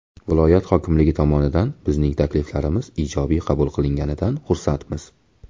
Viloyat hokimligi tomonidan bizning takliflarimiz ijobiy qabul qilinganidan xursandmiz”.